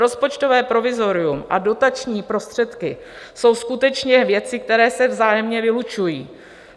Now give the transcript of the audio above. Rozpočtové provizorium a dotační prostředky jsou skutečně věci, které se vzájemně vylučují.